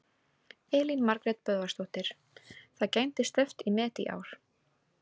Elín Margrét Böðvarsdóttir: Það gæti stefnt í met í ár?